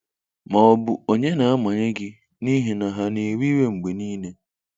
Ma ọ bụ onye na-amanye gị n'ihi na ha na-ewe iwe mgbe niile?